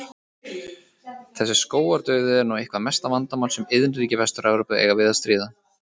Þessi skógardauði er nú eitthvert mesta vandamál sem iðnríki Vestur-Evrópu eiga við að stríða.